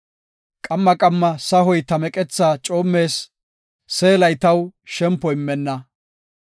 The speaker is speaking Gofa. Qamma qamma sahoy ta meqetha coommees; seelay taw shempo immenna.